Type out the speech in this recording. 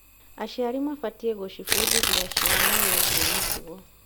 Aciari mabatiĩ gũcibundithia ciana wĩgiĩ mĩtugo.